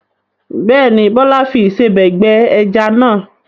Bẹ́ẹ̀ ni, Bọ́lá fi ìsebẹ̀ gbẹ ẹja náà.